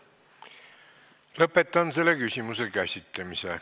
Lõpetan selle küsimuse käsitlemise.